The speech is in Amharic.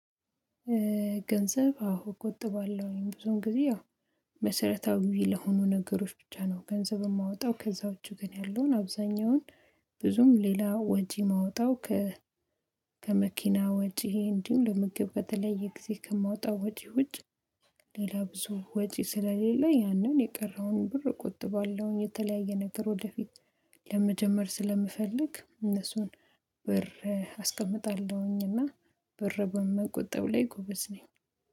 ገንዘብ አዎ እቆጥባለሁኝ ብዙም ጊዜ አዎ መሰረታዊ ለሆኑ ነገሮች ብቻ ነው። ገንዘብ የማወጣው ከዛው ውጭ ግን ያለውን አብዛኛውን ብዙም ሌላ ወጂ የማወጣው። ከ ወጪ እንዲሁ ለምግብ በተለየ ጊዜ ከማወጣው ወጪ ውጪ ሌላ ብዙ ወጪ ስለሌለኝ ያንን የቀረውን ብር እቆጥባለሁኝ። የተለያየ ነገር ወደፊት ለመጀመር ስለምፈልግ እነሱን ብር አስቀምጣለሁኝ። እና ብር በመቆጠብ ላይ ጎበዝ ነኝ